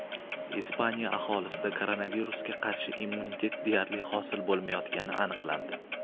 Ispaniya aholisida koronavirusga qarshi immunitet deyarli hosil bo‘lmayotgani aniqlandi.